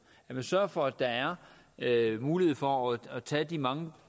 at man sørger for at der er mulighed for også at tage de mange